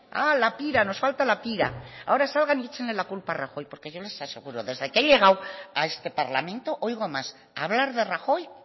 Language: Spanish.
a la pira nos falta la pira ahora salgan y echen la culpa a rajoy porque yo les aseguro que desde he llegado a este parlamento oigo más hablar de rajoy